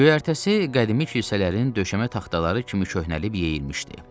Göyərtəsi qədimi kilsələrin döşəmə taxtaları kimi köhnəlib yeyilmişdi.